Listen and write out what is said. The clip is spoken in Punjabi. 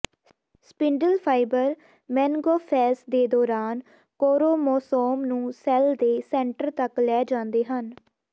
ਸਪਿੰਡਲ ਫ਼ਾਈਬਰ ਮੇਨਗਾਫੈਸ ਦੇ ਦੌਰਾਨ ਕੋਰੋਮੋਸੋਮ ਨੂੰ ਸੈਲ ਦੇ ਸੈਂਟਰ ਤੱਕ ਲੈ ਜਾਂਦੇ ਹਨ